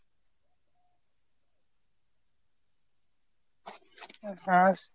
হ্যাঁ।